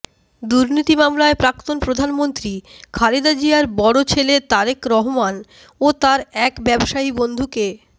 দুর্নীতি মামলায় প্রাক্তন প্রধানমন্ত্রী খালেদা জিয়ার বড় ছেলে তারেক রহমান ও তার এক ব্যবসায়ী বন্ধুকে